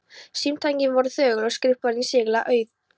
Símtækin voru þögul og skrifborðin ískyggilega auð.